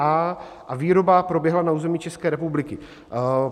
a) a výroba proběhla na území České republiky.